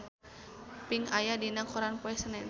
Pink aya dina koran poe Senen